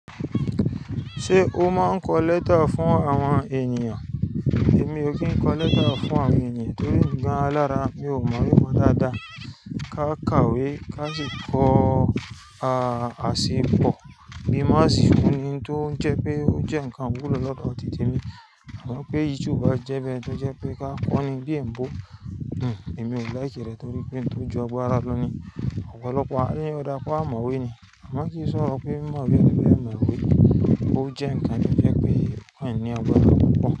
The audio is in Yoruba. Ṣé o máa ń kọ lẹ́tà fún àwọn ènìyàn? Èmi ò kí ń kọ lẹ́tà fún àwọn ènìyàn torí emi gan alára mi ò mọ, mi mọ dáadáa. Ká kàwé, ká sì kọ asipọ bí má sì ń fún ni tó ń jẹ pé ó jẹ́ ǹkan iwulọ lọ́dọ̀ titi e mi. Mo rántí pé YouTube jẹ́ ibi tó jẹ́ pé ká kọ́ni bí èn bò. Èmi ò like rẹ̀ torí pé n tó ju agbára lọ ni ọ̀pọ̀lọpọ̀ àríyànjiyàn. Ò dára kó a mọ̀wé ni. A máa kì í sọ̀rọ̀ pé má bí ẹni bá mọ̀wé, ó jẹ́ ǹkan tí ó jẹ́ pé kí ènìyàn gbọ́ lọ́pọ̀lọpọ̀